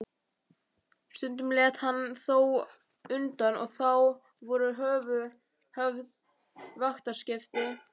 Stundum lét hann þó undan og þá voru höfð vaktaskipti.